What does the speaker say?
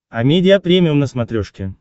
амедиа премиум на смотрешке